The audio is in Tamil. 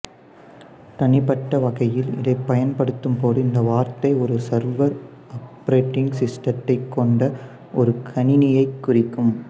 தனிப்பட்ட வகையில் இதை பயன்படுத்தும் போது இந்த வார்த்தை ஒரு சர்வர் ஆப்ரேட்டிங் சிஸ்டத்தைக் கொண்ட ஒரு கணிணியைக் குறிக்கும்